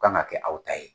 Kan ka kɛ aw ta ye